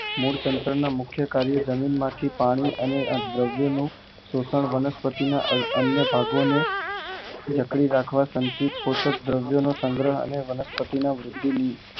મૂળતંત્ર ના મુખ્ય કાર્યો જમીન માંથી પાણી અને અદ્રાવ્ય નું શોષણ વનસ્પતિ ના અન્ય ભાગો ને જકડી રાખવા સંસિદોષો નો અને વનસ્પતિ માં વૃદ્ધિની